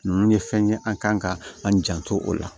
Ninnu ye fɛn ye an kan ka an janto o la